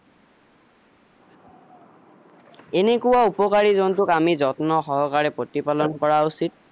এনেকোৱা উপকাৰি জন্তুক আমি যত্ন সহকাৰে প্ৰতিপালন কৰা উচিত